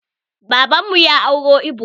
Baban mu ya auro ibo